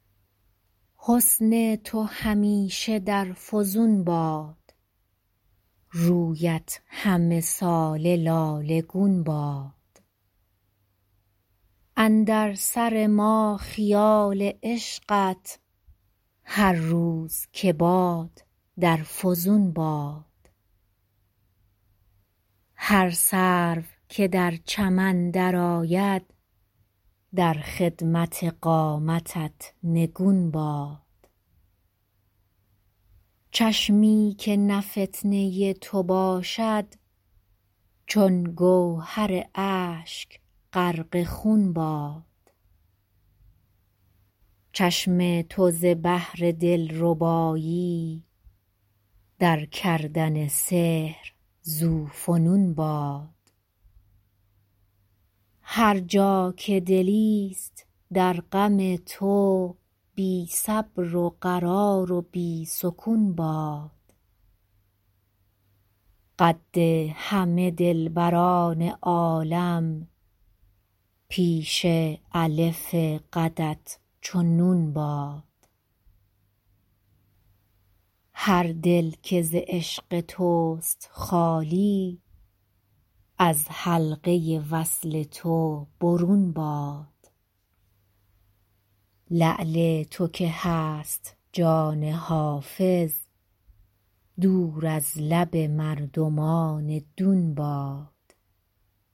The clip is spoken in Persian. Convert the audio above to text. حسن تو همیشه در فزون باد رویت همه ساله لاله گون باد اندر سر ما خیال عشقت هر روز که باد در فزون باد هر سرو که در چمن درآید در خدمت قامتت نگون باد چشمی که نه فتنه تو باشد چون گوهر اشک غرق خون باد چشم تو ز بهر دلربایی در کردن سحر ذوفنون باد هر جا که دلیست در غم تو بی صبر و قرار و بی سکون باد قد همه دلبران عالم پیش الف قدت چو نون باد هر دل که ز عشق توست خالی از حلقه وصل تو برون باد لعل تو که هست جان حافظ دور از لب مردمان دون باد